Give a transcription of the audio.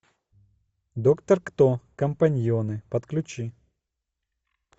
доктор кто компаньоны подключи